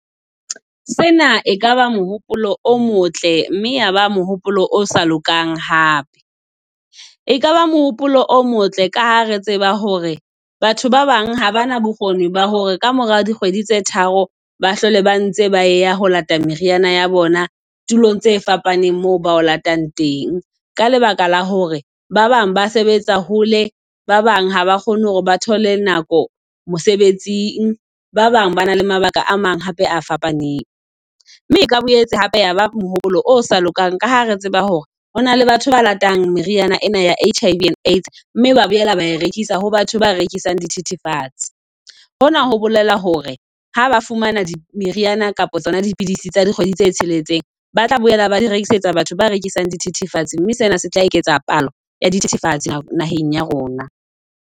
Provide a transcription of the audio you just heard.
Sena ekaba mohopolo o motle, mme ya ba mohopolo o sa lokang hape. E kaba mohopolo o motle ka ha re tseba hore batho ba bang ha bana bokgoni ba hore kamora dikgwedi tse tharo ba hlole ba ntse ba ya ho lata meriana ya bona tulong tse fapaneng moo ba o latang teng. Ka lebaka la hore ba bang ba sebetsa hole, ba bang haba kgone hore ba thole nako mosebetsing, ba bang ba na le mabaka a mang hape a fapaneng. Mme o ka boetse hape yaba mohopolo o sa lokang ka ha re tseba hore ho na le batho ba ratang meriana ena ya HIV and Aids. Mme ba bolela ba e rekisa ho batho ba rekisang dithethefatse. Hona ho le hore ha ba fumana meriana kapa tsona dipidisi tsa dikgwedi tse tsheletseng ba tla boela ba di rekisetsa batho ba rekisang dithethefatsi, mme sena se tla eketsa palo ya dithethefatsi naheng ya rona.